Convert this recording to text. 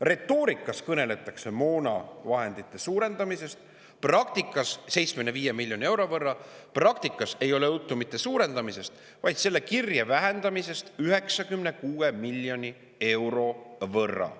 Retoorikas kõneldakse moonavahendite suurendamisest 75 miljoni euro võrra, praktikas ei ole juttu mitte suurendamisest, vaid selle kirje vähendamisest 96 miljoni euro võrra.